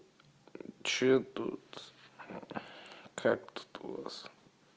что тут как тут у вас